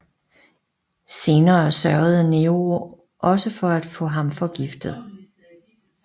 Senere sørgede Nero også for at få ham forgiftet